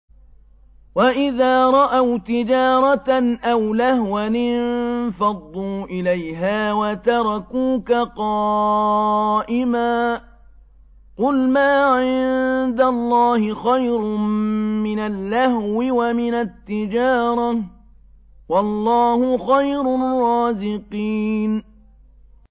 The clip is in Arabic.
وَإِذَا رَأَوْا تِجَارَةً أَوْ لَهْوًا انفَضُّوا إِلَيْهَا وَتَرَكُوكَ قَائِمًا ۚ قُلْ مَا عِندَ اللَّهِ خَيْرٌ مِّنَ اللَّهْوِ وَمِنَ التِّجَارَةِ ۚ وَاللَّهُ خَيْرُ الرَّازِقِينَ